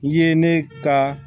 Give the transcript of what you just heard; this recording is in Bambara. I ye ne ka